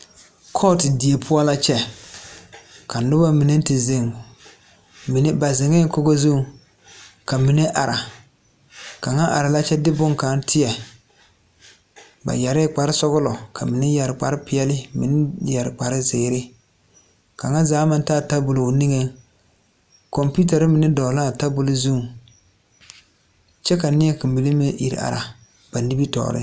Kɔɔtu die poɔ la kyɛ ka nobɔ mine te zeŋ mine ba zeŋɛɛ kogo zuŋ ka mine are kaŋa ara la kyɛ de bonkaŋ teɛ ba yɛrɛɛ kparesɔglɔ ka mine yɛre kparepeɛɛli ka mine meŋ yɛre kparezeere kaŋa zaa maŋ taa tabol o niŋeŋ kɔmpiutarre mine dɔgle laa tabol zuŋ kyɛ ka nie kaŋ mine meŋ ire are ba nimitoore.